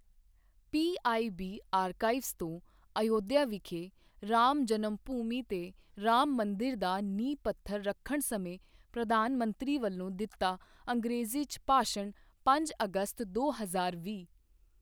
PIB archives ਤੋਂ ਅਯੁੱਧਿਆ ਵਿਖੇ ਰਾਮ ਜਨਮਭੂਮੀ ਤੇ ਰਾਮ ਮੰਦਿਰ ਦਾ ਨੀਂਹ ਪੱਥਰ ਰੱਖਣ ਸਮੇਂ ਪ੍ਰਧਾਨ ਮੰਤਰੀ ਵੱਲੋਂ ਦਿੱਤਾ ਅੰਗ੍ਰੇਜ਼ੀ 'ਚ ਭਾਸ਼ਣ ਪੰਜ ਅਗਸਤ, ਦੋ ਹਜ਼ਾਰ ਵੀਹ